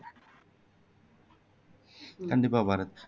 கண்டிப்பா பாரத்